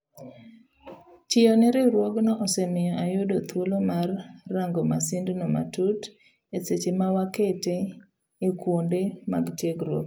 Tiyo ne riwruogno osemiyo ayudo thuolo mar rango masindno matut eseche mawakete ekuonde mag tiegruok.